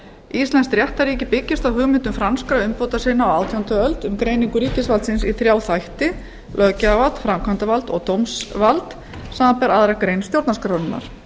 íslenskt réttarríki byggist á hugmyndum franskra umbótasinna á átjándu öld um greiningu ríkisvaldsins í þrjá þætti löggjafarvald framkvæmdarvald og dómsvald samanber aðra grein stjórnarskrárinnar